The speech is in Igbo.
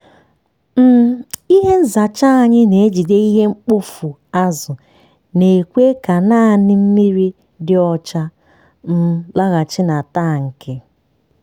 um ihe nzacha anyị na-ejide ihe mkpofu azụ na-ekwe ka naanị mmiri dị ọcha um laghachi na tankị.